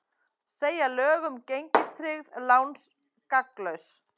Segja lög um gengistryggð lán gagnslaus